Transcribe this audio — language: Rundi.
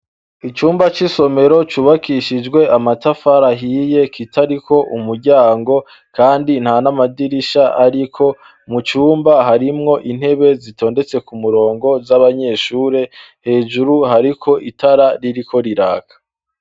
Icumba c'isomero cubakishijwe amatafara ahiye, kitariko umuryango, kandi nta n'amadirisha ariko. Mu cumba, harimwo intebe zitondetse ku murongo z'abanyeshuri. Hejuru hariko itara ririko riraka.